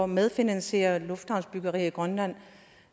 medfinansiere lufthavnsbyggeri i grønland